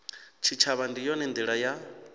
tshitshavha ndi yone ndila ya